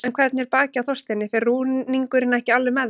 En hvernig er bakið á Þorsteini, fer rúningurinn ekki alveg með það?